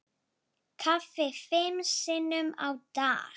Kaffi fimm sinnum á dag.